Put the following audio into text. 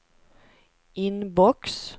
inbox